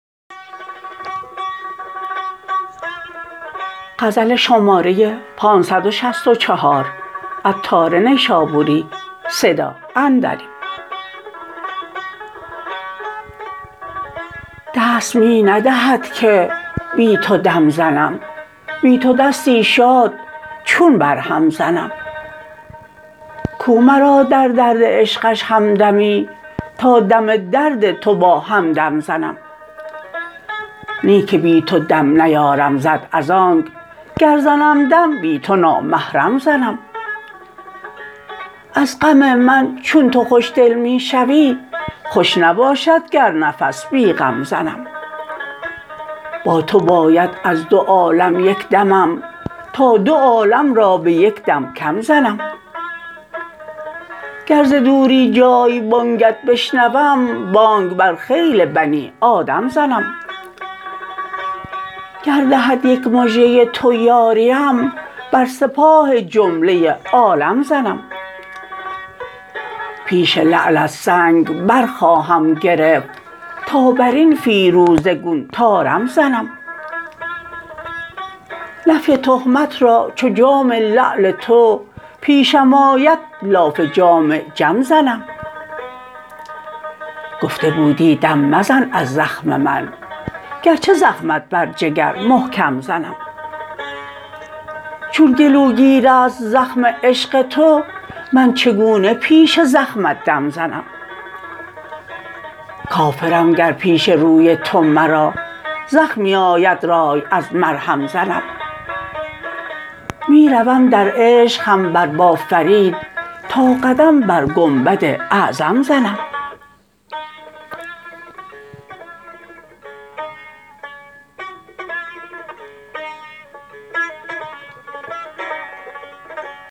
دست می ندهد که بی تو دم زنم بی تو دستی شاد چون برهم زنم کو مرا در درد عشقش همدمی تا دم درد تو با همدم زنم نی که بی تو دم نیارم زد از آنک گر زنم دم بی تو نامحرم زنم از غم من چون تو خوشدل می شوی خوش نباشد گر نفس بی غم زنم با تو باید از دوعالم یک دمم تا دو عالم را به یک دم کم زنم گر ز دوری جای بانگت بشنوم بانگ بر خیل بنی آدم زنم گر دهد یک مژه تو یاریم بر سپاه جمله عالم زنم پیش لعلت سنگ برخواهم گرفت تا برین فیروزه گون طارم زنم نفی تهمت را چو جام لعل تو پیشم آید لاف جام جم زنم گفته بودی دم مزن از زخم من گرچه زخمت بر جگر محکم زنم چون گلوگیر است زخم عشق تو من چگونه پیش زخمت دم زنم کافرم گر پیش روی تو مرا زخمی آید رای از مرهم زنم می روم در عشق هم بر با فرید تا قدم بر گنبد اعظم زنم